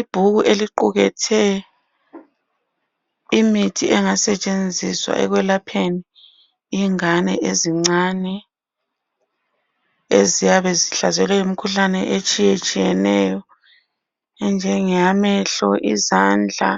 Ibhuku eliqukethe imithi engasetshenziswa ekwelapheni ingane ezincane eziyabe zihlaselwe yimikhuhlane etshiyetshiyeneyo, enjengeyamehlo, izandla